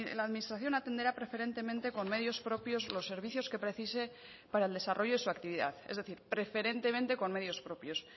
la administración atenderá preferentemente con medios propios los servicios que precise para el desarrollo de su actividad es decir preferentemente con medios propios